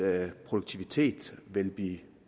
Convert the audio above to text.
produktivitet vil blive